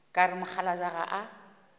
ka re mokgalabje ga a